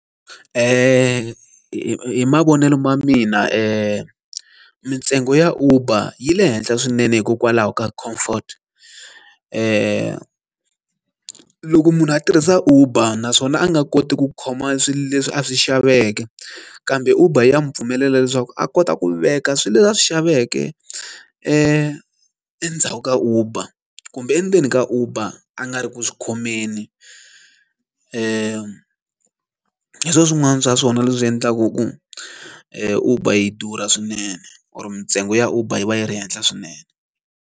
Hi mavonelo ma mina mintsengo ya uber yi le henhla swinene hikokwalaho ka comfort loko munhu a tirhisa uber naswona a nga koti ku khoma swilo leswi a swi xaveke kambe uber ya n'wi pfumelela leswaku a kota ku veka swilo leswi a swi xaveke endzhaku ka uber kumbe endzeni ka uber a nga ri ku swi khomeni i swin'wana swa swona leswi endlaka ku uber yi durha swinene or mintsengo ya uber yi va yi ri henhla swinene.